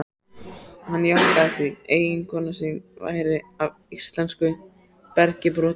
Hann jánkaði því, eiginkona sín væri af íslensku bergi brotin.